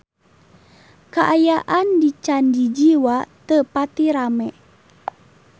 Kaayaan di Candi Jiwa teu pati rame